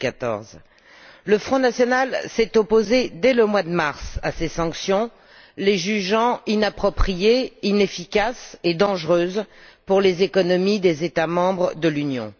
2014. Le Front national s'est opposé dès le mois de mars à ces sanctions, les jugeant inappropriées, inefficaces et dangereuses pour les économies des États membres de l'Union.